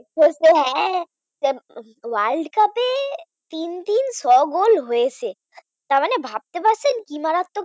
world cup এ তিন-তিন ছয় গোল হয়েছে। তারমানে ভাবতে পারছেন কি মারাত্মক হয়েছে